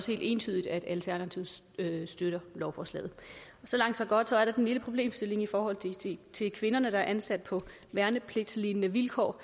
helt entydigt at alternativet støtter lovforslaget så langt så godt så er der sådan en lille problemstilling i forhold til kvinderne der er ansat på værnepligtslignende vilkår